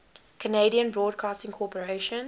canadian broadcasting corporation